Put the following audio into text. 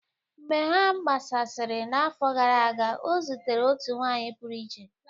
Mgbe ha gbasasịrị n'afọ gara aga, ọ zutere otu nwanyị pụrụ iche